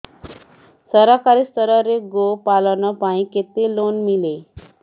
ସରକାରୀ ସ୍ତରରେ ଗୋ ପାଳନ ପାଇଁ କେତେ ଲୋନ୍ ମିଳେ